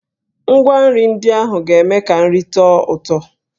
Ngwa nri ndị ahụ ga-eme ka nri tọọ ụtọ.